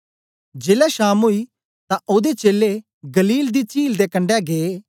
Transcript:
जेलै शाम ओई तां ओदे चेलें गलील दी चील दे कंडै गै